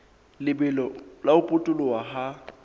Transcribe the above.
lebelo la ho potoloha ha